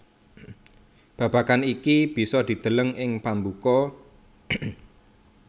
Babagan iki bisa dideleng ing pambuka